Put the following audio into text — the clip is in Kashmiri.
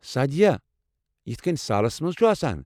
سادِیا یتھہٕ كٕنۍ سالس منز چُھ آسان ؟